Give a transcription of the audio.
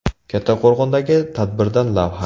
Kattaqo‘rg‘ondagi tadbirdan lavha.